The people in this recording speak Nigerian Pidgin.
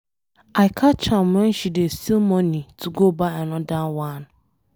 I catch am wen she dey steal money to go buy another one.